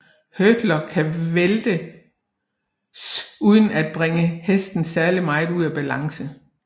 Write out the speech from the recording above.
Hurdler kan væltes uden at bringe hesten særlig meget ud af balance